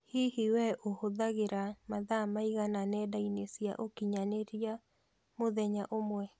Hihi we ũhuthagĩra mathaa maigana nenda-inĩ cia ũkinyanĩria mũthenya ũmwe?